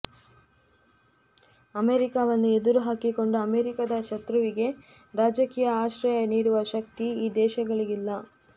ಅಮೇರಿಕಾವನ್ನು ಎದುರು ಹಾಕಿಕೊಂಡು ಅಮೇರಿಕಾದ ಶತ್ರುವಿಗೆ ರಾಜಕೀಯ ಆಶ್ರಯ ನೀಡುವ ಶಕ್ತಿ ಈ ದೇಶಗಳಿಗಿಲ್ಲ